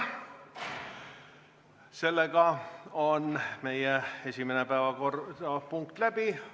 Meie esimene päevakorrapunkt on läbi.